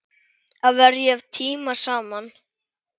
Að verja tíma saman.